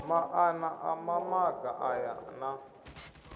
maana a mamaga aya na